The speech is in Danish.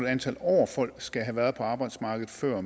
antal år folk skal have været på arbejdsmarkedet før